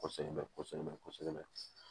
Kɔsɛbɛ kɔsɛbɛ kɔsɛbɛ